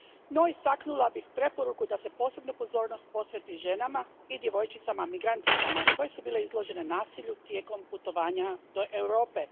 No, istaknula bih preporuku da se posebnu pozornost posveti ženama i djevojčicama migranticama koje su bile izložene nasilju tijekom putovanja do Europe.